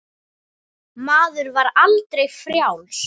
Maður var aldrei frjáls.